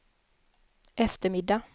eftermiddag